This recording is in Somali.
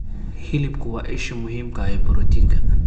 Hilibku waa isha muhiimka ah ee borotiinka.